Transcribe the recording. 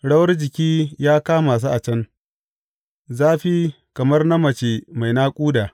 Rawar jiki ya kama su a can, zafi kamar na mace mai naƙuda.